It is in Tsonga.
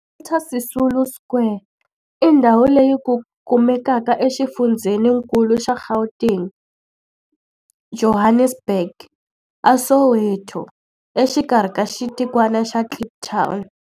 Walter Sisulu Square i ndhawu leyi kumekaka exifundzheni-nkulu xa Gauteng, Johannesburg, a Soweto, exikarhi ka xitikwana xa Kliptown.